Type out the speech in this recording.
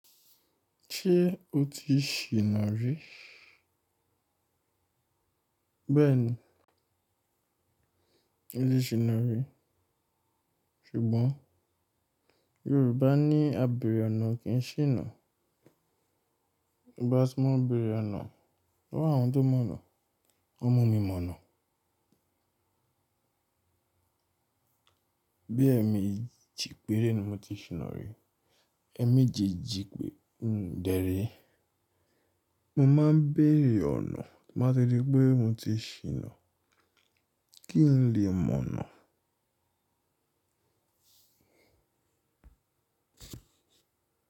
Ṣé o ti ṣìná rí? Bẹ́ẹ̀ni, mo ti ṣìná rí. Ṣùgbọ́n Yorùbá ní "A bèrè ọ̀nà kì í ṣìnà." Bí bá sọ máa bèrè ọ̀nà, lowo àwọn tó mọ̀ ọ̀nà, ó mú mi mọ̀nà. Bí ẹme ji pére ni mo ti ṣìnà rí. Ẹ̀ méjì jí pè, dèré. Mo máa ń bèrè ọ̀nà, máà ṣe ri pé mo ti ṣìnà, kí n lè mọ̀nà.